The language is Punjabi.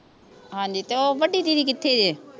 ਹਾਂਜੀ ਤੇ ਓਹ ਵੱਡੀ ਦੀਦੀ ਕਿੱਥੇ ਜੇ